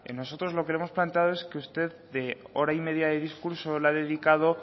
nosotros lo que hemos planteado es que usted de hora y media de discurso le ha dedicado